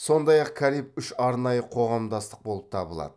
сондай ақ кариб үш арнайы қоғамдастық болып табылады